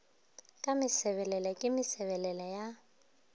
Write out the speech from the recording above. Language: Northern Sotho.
ka mesebelele ke mesebelele ya